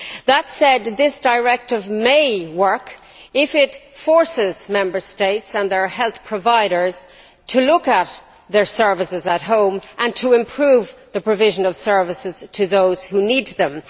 That said, this directive may work if it forces Member States and their health providers to look at their services at home and to improve the provision of services to those who need them.